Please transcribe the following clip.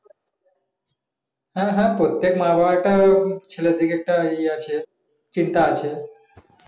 হ্যাঁ হ্যাঁ প্রত্যেক মা বাবা টা ছেলের দিকে একটা ইয়ে আছে চিন্তা আছে